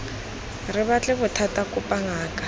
re batle bothata kopa ngaka